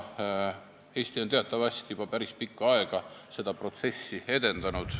Eesti on teatavasti juba päris pikka aega seda protsessi edendanud.